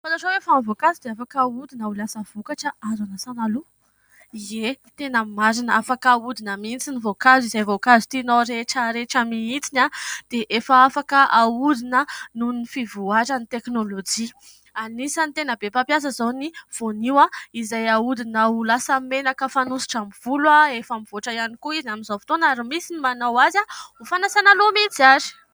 Fantatrao ve fa ny voankazo dia afaka ahodina ho lasa vokatra azo hanasana loha? Ie, tena marina, afaka ahodina mihintsy ny voankazo. Izay voankazo tinao rehetra rehetra mihintsy dia efa afaka ahodina noho ny fivoaran'ny teknolojia. Anisan'ny tena be mpampiasa izao ny voanio izay ahodina ho lasa menaka fanosotra ny volo. Efa mivoatra ihany koa izy amin'izao fotoana ary misy ny manao azy ho fanasana loha mihintsy ary.